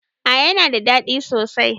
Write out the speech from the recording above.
A yana da ɗadi sosai